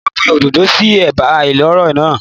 Mò ń gbin òdòdó sí ẹ̀bá ìloro náà.